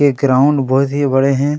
ये ग्राउंड बहोत ही बड़े है।